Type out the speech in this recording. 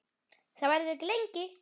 Það verður ekki lengi.